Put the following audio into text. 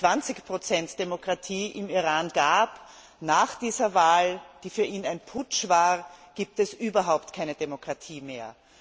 20 Demokratie im Iran gab, nach dieser Wahl, die für ihn ein Putsch war, gibt es überhaupt keine Demokratie mehr.